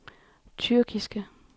tyrkiske